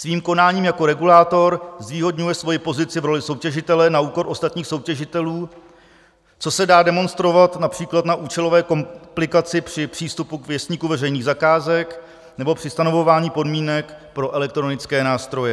Svým konáním jako regulátor zvýhodňuje svoji pozici v roli soutěžitele na úkor ostatních soutěžitelů, což se dá demonstrovat například na účelové komplikaci při přístupu k Věstníku veřejných zakázek nebo při stanovování podmínek pro elektronické nástroje.